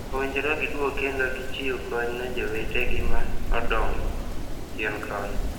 Owinjore gi duogi kendo gi chiwo kony ne jowete gi ma odong ochien koni.